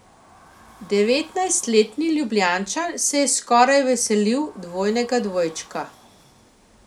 Devetnajstletni Ljubljančan se je skoraj veselil dvojnega dvojčka.